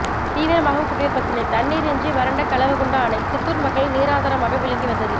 தீவிரமாகும் குடிநீர் பிரச்னை தண்ணீரின்றி வறண்ட கலவகுண்டா அணை சித்தூர் மக்களின் நீராதாரமாக விளங்கி வந்தது